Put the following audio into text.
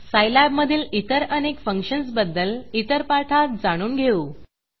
Scilab मधील इतर अनेक फंक्शन्सबद्दल इतर पाठात जाणून घेऊ